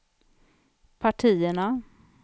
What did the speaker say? partierna